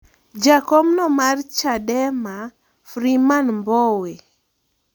Jakomno mar Chadema, Freeman Mbowe